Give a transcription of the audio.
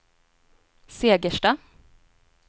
Segersta